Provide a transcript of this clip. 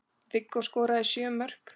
Viggó skoraði sjö mörk.